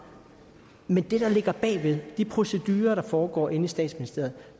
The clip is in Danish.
men det der ligger bagved de procedurer der foregår inde i statsministeriet